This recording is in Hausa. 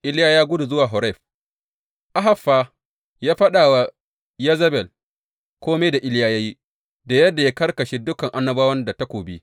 Iliya ya gudu zuwa Horeb Ahab fa ya faɗa wa Yezebel kome da Iliya ya yi, da yadda ya karkashe dukan annabawan da takobi.